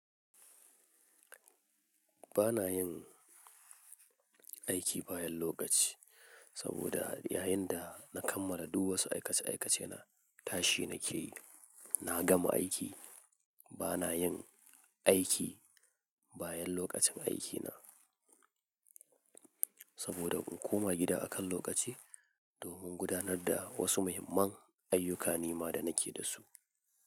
Ba na yin aiki bayan lokaci saboda yayin da na kammala duk wasu aikace-aikacena, tashi na ke yi, na gama aiki. Ba na yin aiki bayan lokacin aikina saboda in koma gida akan lokaci domin gudanar da wasu muhimman ayyukani ma da na ke da su.